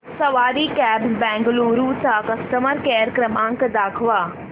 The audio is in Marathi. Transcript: सवारी कॅब्झ बंगळुरू चा कस्टमर केअर क्रमांक दाखवा